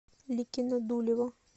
ликино дулево